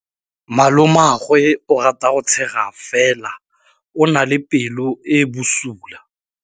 Malomagwe o rata go tshega fela o na le pelo e e bosula.